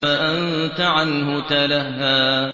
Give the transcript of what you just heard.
فَأَنتَ عَنْهُ تَلَهَّىٰ